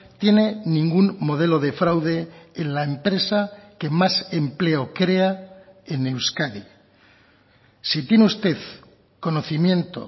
tiene ningún modelo de fraude en la empresa que más empleo crea en euskadi si tiene usted conocimiento